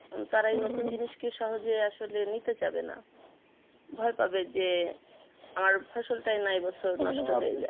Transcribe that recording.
তারা এই নতুন জিনিসকে সহজে আসলে নিতে চাবে না ভয় পাবে যে আমার ফসলটা না এই বছর নষ্ট হয়ে যাই